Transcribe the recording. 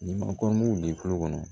Ni ma kɔrɔmugu bi kulo kɔnɔ